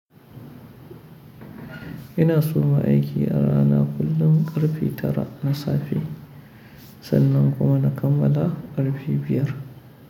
Ina soma aiki a rana kullum ƙarfi tara na safe sannan kuma na kammala ƙarfe biyar.